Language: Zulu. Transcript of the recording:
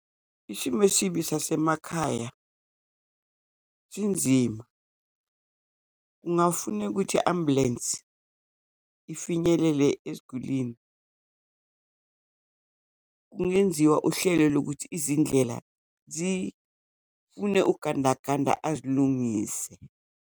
Isimo esibi sasemakhaya sinzima. Kungafuneka ukuthi i-ambulensi ifinyelele esigulini kungenziwa uhlelo lokuthi izindlela zifune ugandaganda azilungise.